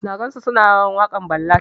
Na gan su suna rawan wakan ballad.